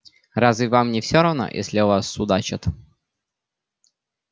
разве вам не все равно если о вас судачат